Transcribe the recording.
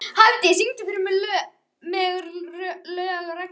Hafdís, syngdu fyrir mig „Lög og regla“.